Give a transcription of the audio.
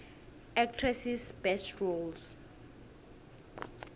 actresses best roles